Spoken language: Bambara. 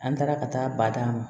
An taara ka taa ba d'a ma